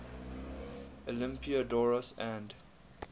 olympiodoros and